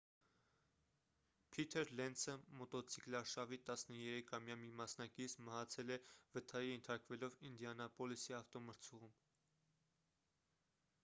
փիթր լենցը մոտոցիկլարշավի 13-ամյա մի մասնակից մահացել է վթարի ենթարկվելով ինդիանապոլիսի ավտոմրցուղում